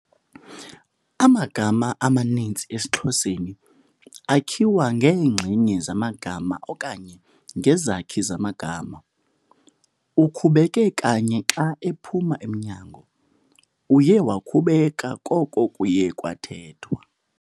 Amagama amaninzi esiXhoseni akhiwa ngeenxenye zamanye amagama okanye ngezakhi zamagama. Ukhubeke kanye xa ephuma emnyango, uye wakhubeka koko kuye kwathethwa